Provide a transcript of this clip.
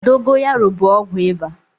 Dogoyaro bụ ọgwụ ịba.